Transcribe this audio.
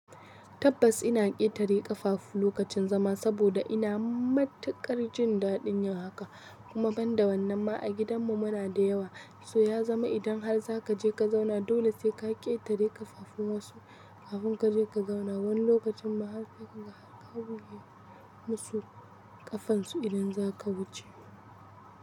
Tabbas ina ƙetare ƙafafu lokacin zama saboda ina matuƙar jin daɗin haka kuma ban da wannan ma a gidanmu muna da yawa, so ya zama idan har za ka je ka zauna dole sai ka ƙetare ƙafafun wasu kafin ka je ka zauna. Wani lokacin ma har sai ka ga har ka buge musu ƙafansu idan zaka wuce.